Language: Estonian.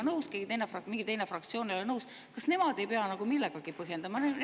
Kui siis, ütleme, keegi teine, mingi teine fraktsioon ei ole sellega nõus, kas nemad ei pea seda millegagi põhjendama?